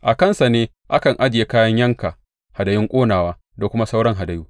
A kansu ne a kan ajiye kayan yanka hadayun ƙonawa da kuma sauran hadayu.